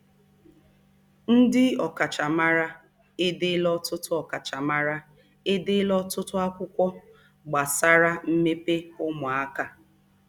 Ndị ọkachamara edeela ọtụtụ ọkachamara edeela ọtụtụ akwụkwọ gbasara mmepe ụmụaka.